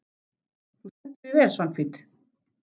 Þú stendur þig vel, Svanhvít!